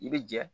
I bɛ jɛ